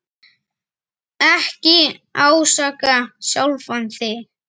Ekki ásaka sjálfan þig.